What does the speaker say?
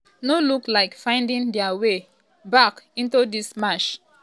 no look like finding dia way um back into dis match.